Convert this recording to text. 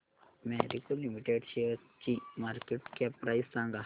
Marico limited शेअरची market cap price सांगा